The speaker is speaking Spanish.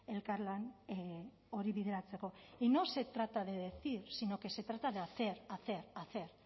elkarlan hori bideratzeko y no se trata de decir sino que se trata de hacer hacer hacer